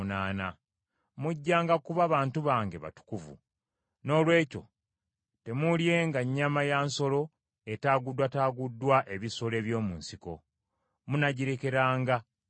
“Mujjanga kuba bantu bange batukuvu. Noolwekyo temuulyenga nnyama ya nsolo etaaguddwataaguddwa ebisolo eby’omu nsiko. Munaagirekeranga mbwa.